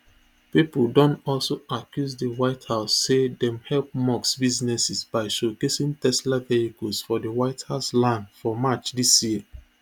pipo don also accuse di white house say dem help musk businesses by showcasing tesla vehicles for di white house lawn for march dis year